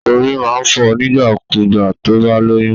Orí máa ń fọ nígbà kú gbà tó bá lóyún